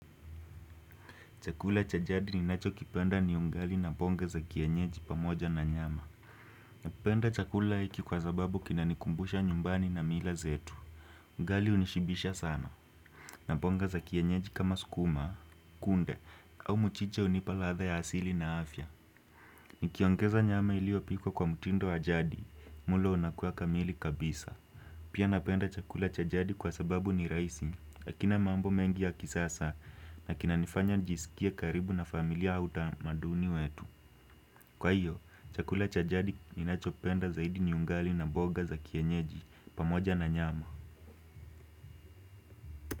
Chakula cha jadi ninacho kipenda ni ungali na ponga za kienyeji pamoja na nyama. Napenda chakula hiki kwa sababu kinanikumbusha nyumbani na mila zetu. Ungali unishibisha sana. Naponga za kienyeji kama sukuma, kunde au mchicha hunipa ladha ya asili na afya. Nikiongeza nyama iliyopikwa kwa mtindo wa jadi, mlo unakuwa kamili kabisa. Pia napenda chakula cha jadi kwa sababu ni rahisi. Hakina mambo mengi ya kisasa na kinanifanya nijisikie karibu na familia au utamaduni wetu kwa hiyo chakula cha jadi ninachopenda zaidi ni ungali na mboga za kienyeji pamoja na nyama.